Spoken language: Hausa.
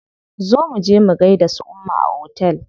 Zo muje mu gaida su umma a otel.